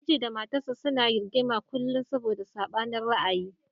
Miji da matarsa ​​suna rigima kullum saboda sabanin ra'ayi.